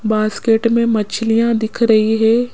Basket में मछलियां दिख रही है।